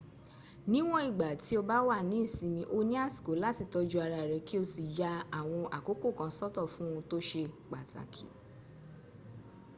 níwọn ìgbà tí o báwà ní ìsinmi o ní àsìkò láti tọ́jú ara rẹ kí o sì ya àwọn àkókò kan sọ́tọ fún ohun tó se pàtakì